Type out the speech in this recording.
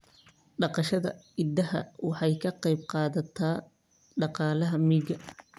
Dhaqashada idaha waxay ka qayb qaadataa dhaqaalaha miyiga.